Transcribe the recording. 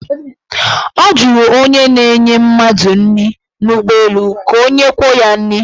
Ọ jụrụ onye na-enye mmadụ nri n' ụgbọelụ ka o nyekwuo ya nri.